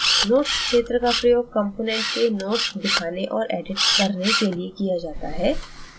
notes क्षेत्र का प्रयोग component के notes दिखाने और edit करने के लिए किया जाता है